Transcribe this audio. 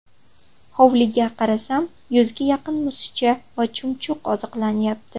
Hovliga qarasam, yuzga yaqin musicha va chumchuq oziqlanyapti.